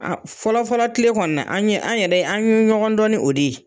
A fɔlɔ fɔlɔ tile kɔni na, an ye an yɛrɛ an ye ɲɔgɔn dɔn n'o de ye.